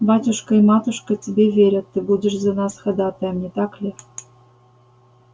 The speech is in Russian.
батюшка и матушка тебе верят ты будешь за нас ходатаем не так ли